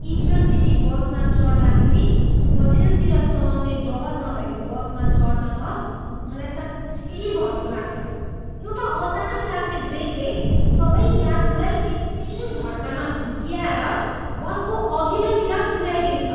Enter city बसमा चढ्दाखेरी पछिल्तिर समाउने डर नभएको बसमा चढ्न त मलाई साँच्चिकै झर्को लाग्छ। एउटा अचानक लाग्ने ब्रेकले सबै यात्रुलाई एकै झट्कामा हुत्याएर बसको अघिल्तिर पुऱ्याइदिन्छ।